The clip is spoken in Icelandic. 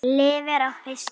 Lifir á fiski.